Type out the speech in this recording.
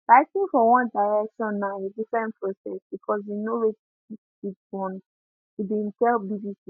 writing for one direction na a different process because you know wetin di kids want e bin tell bbc